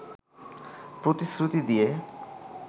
প্রতিশ্রুতি দিয়ে